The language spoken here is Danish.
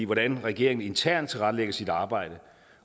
hvordan regeringen internt tilrettelægger sit arbejde